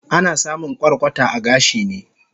Ana samun kwarkwata a gashi ne